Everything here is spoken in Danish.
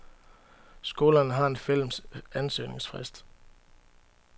Skolerne har en fælles ansøgningsfrist.